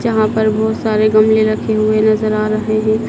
जहां पर बहुत सारे गमले रखे हुए नजर आ रहे हैं।